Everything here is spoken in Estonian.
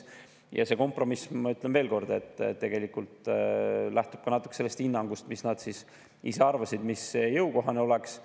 Ja see kompromiss, ma ütlen veelkord, lähtub tegelikult natuke ka hinnangust selle kohta, mis nende arvates jõukohane oleks.